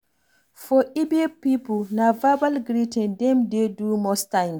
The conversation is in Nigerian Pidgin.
For igbo pipo, na verbal greeting dem dey do most times